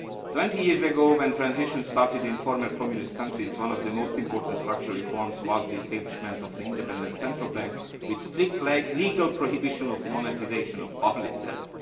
Twenty years ago, when transition started in the former Communist countries, one of the most important structural reforms was the establishment of an independent central bank with strict legal prohibition of the monetisation of public debt.